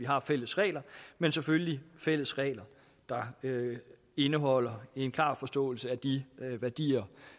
har fælles regler men selvfølgelig fælles regler der indeholder en klar forståelse af de værdier